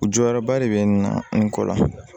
U jɔyɔrɔba de bɛ n na n kɔ la